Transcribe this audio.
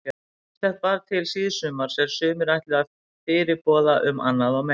Ýmislegt bar til síðsumars er sumir ætla fyrirboða um annað meira.